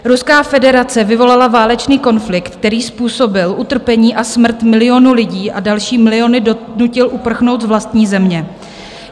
Ruská federace vyvolala válečný konflikt, který způsobil utrpení a smrt milionů lidí a další miliony donutil uprchnout z vlastní země.